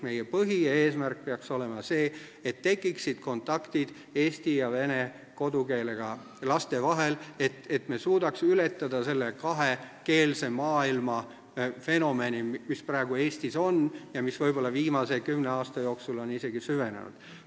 Meie põhieesmärk peaks olema see, et tekiksid kontaktid eesti ja vene kodukeelega laste vahel, et me suudaks ületada selle kahe keele maailma fenomeni, mis praegu Eestis on ja mis viimase kümne aasta jooksul on ehk isegi süvenenud.